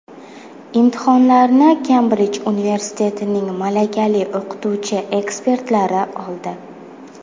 Imtihonlarni Kembrij universitetining malakali o‘qituvchi-ekspertlari oldi.